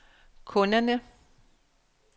kunderne